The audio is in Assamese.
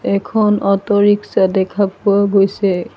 এখন অটো ৰিক্সা দেখা পোৱা গৈছে।